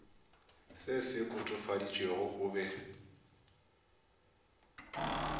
se se kotofaditšwego o be